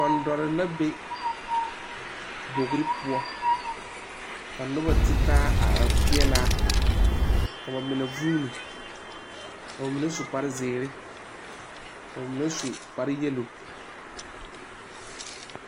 Ɔndɔre la be bogi poɔ ka noba ti taa a are peɛle a ka ba mine vuuni ka ba mine su kparezeere ka ba mine su kpareyɛlo.